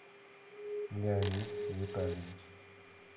леонид витальевич